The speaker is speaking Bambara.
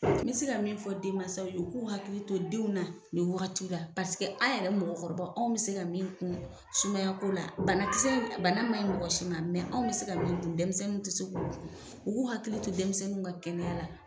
Me se ka min fɔ denmansaw ye u k'u hakili to denw na nin wagati la an' yɛrɛ mɔgɔkɔrɔbaw anw bi se ka min kun sumaya ko la, bana kisɛ in a bana ma ɲi mɔgɔ si ma anw bɛ se ka min dun dɛmisɛnninw te se k'o dun. U k'u hakili to dɛmisɛnninw ka kɛnɛya la.